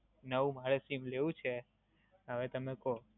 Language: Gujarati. નવું મારે SIM લેવું છે, હવે તમે કો.